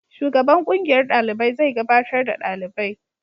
Shugaban kungiyar dalibai zai gabatar da dalibai.